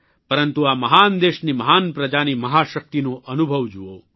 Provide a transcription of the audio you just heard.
પરંતુ આ મહાન દેશની મહાન પ્રજાની મહાશક્તિનો અનુભવ જુઓ